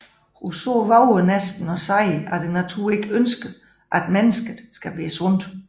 Rousseau vover næsten at sige at naturen ikke ønsker at mennesket skal være sundt